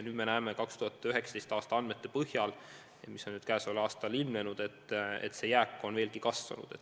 Nüüd me näeme 2019. aasta andmete põhjal, mis on tänavu ilmunud, et see jääk on veelgi kasvanud.